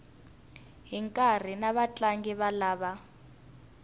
hi nkarhi na vatlangi lava